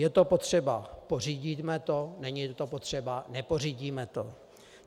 Je to potřeba, pořídíme to, není to potřeba, nepořídíme to.